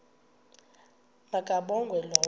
ma kabongwe low